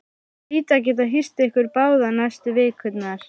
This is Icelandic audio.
Ég hlýt að geta hýst ykkur báða næstu vikurnar